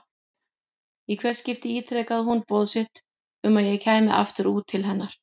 Í hvert skipti ítrekaði hún boð sitt um að ég kæmi aftur út til hennar.